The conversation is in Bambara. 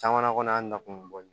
Caman na kɔnɔ an nakun